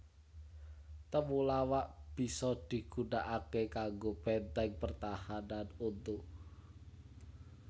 Temulawak bisa digunakaké kanggo bèntèng pertahanan untu